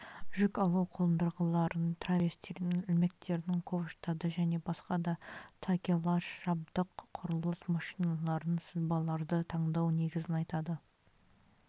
жүк алу қондырғыларын траверстерін ілмектерін ковштарды және басқа да такелаж жабдық құрылыс машиналарын сызбаларды таңдау негізін айтады